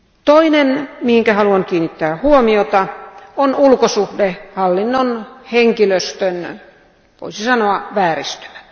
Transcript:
Toinen asia, mihin haluan kiinnittää huomiota, on ulkosuhdehallinnon henkilöstön voisi sanoa vääristymät.